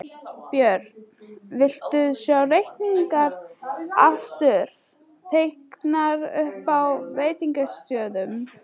Björn: Viltu sjá reykingar aftur teknar upp á veitingastöðum?